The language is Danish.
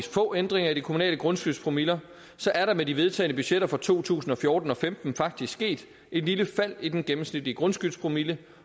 få ændringer i de kommunale grundskyldspromiller er der med de vedtagne budgetter for to tusind og fjorten og femten faktisk sket et lille fald i den gennemsnitlige grundskyldspromille